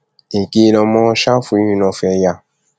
èké lọmọ ṣáfù yìí náà fẹẹ yá